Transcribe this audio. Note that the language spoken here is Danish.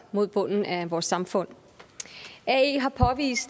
mod bunden af vores samfund